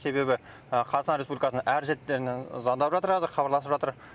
себебі қазақстан республикасының әр шеттерінен звондап хабарласып жатыр